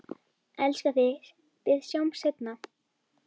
Elska þig, við sjáumst seinna.